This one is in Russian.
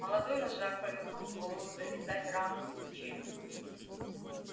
молодой вожак повернул голову зализать рану на плече